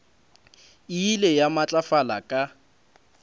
e ile ya matlafala ka